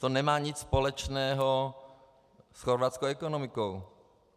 To nemá nic společného s chorvatskou ekonomikou.